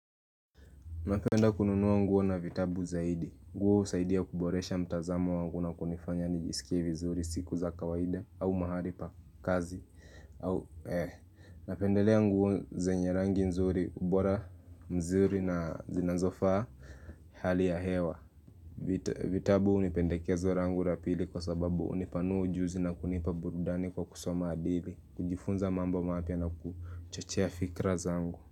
Napenda kununua nguo na vitabu zaidi. Nguo husaidia kuboresha mtazamo wangu na kunifanya nijisikie vizuri siku za kawaida au mahali pa kazi. Napendelea nguo zenye rangi nzuri ubora mzuri na zinazofaa hali ya hewa. Vitabu ni pendekezo langu la pili kwa sababu hunipanua ujuzi na kunipa burudani kwa kusoma hadithi. Kujifunza mambo mapya na kuchochea fikra zangu.